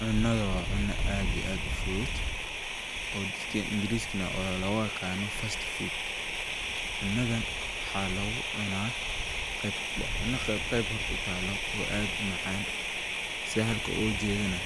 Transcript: Cunnadan waa cunno aad ii aad u fudud oo dadka ingrisiga oo looga yiqaano fast food. Cunnadan waxaa lagu cunaa qeeb, waa cunno qeeb qeeb horta u taalo oo aad u macaan. Si halkan ugu jeedana,